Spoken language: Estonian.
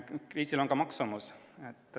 Kriisil on ka maksumus.